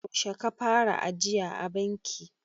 yaushe ka fara ajiya a banki?